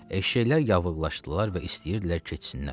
Eşşəklər yavırlaşdılar və istəyirdilər keçsinlər.